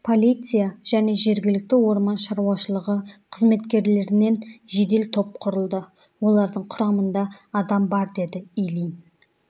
полиция және жергілікті орман шаруашылығы қызметкерлерінен жедел топ құрылды олардың құрамында адам бар деді ильин